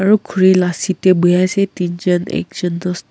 aru khori laga seat te bohe ase tin jen ek jen dost--